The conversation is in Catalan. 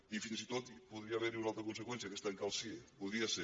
i fins i tot podria haver hi una altra conseqüència que és tancar el cie hi podria ser